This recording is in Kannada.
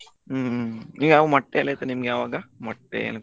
ಹ್ಮ್ ನಿಮ್ಗೆ ಆವಾಗ ಮೊಟ್ಟೆ ಎಲ್ಲ ಇತ್ತಾ ನಿಮ್ಗೆ ಮೊಟ್ಟೆ ಆವಾಗ ಮೊಟ್ಟೆ.